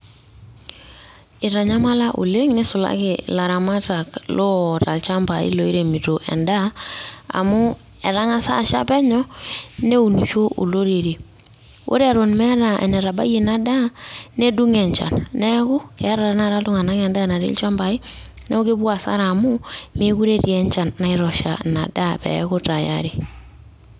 Eitanyamala oleng neisulaki ilaramat loota inchambai looiremito endaa amu etang'asa asha penyo neunisho olorere ore eton meeta enetabayie ina daa nedung'o enchan neeku eetaa tenekata olairemok endaa natii ilchambai neeku kepuo hasara amu meekure etii enchan naitosha ina daa peeku tayari.